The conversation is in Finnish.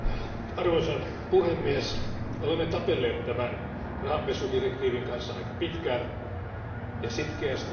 Arvoisa puhemies, olemme tapelleet tämän rahanpesudirektiivin kanssa aika pitkään ja sitkeästi.